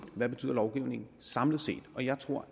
hvad betyder lovgivningen samlet set og jeg tror